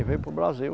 E veio para o Brasil.